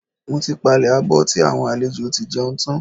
Mo ti palẹ̀ abọ́ tí àwọn àlejò tí jẹun tán.